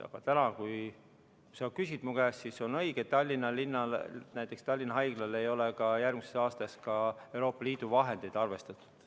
Aga täna, kui sa küsid mu käest, siis on õige, et näiteks Tallinna Haiglale ei ole järgmiseks aastaks ka Euroopa Liidu vahendeid arvestatud.